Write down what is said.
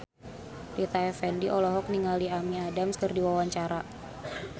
Rita Effendy olohok ningali Amy Adams keur diwawancara